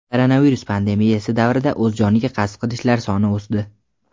koronavirus pandemiyasi davrida o‘z joniga qasd qilishlar soni o‘sdi.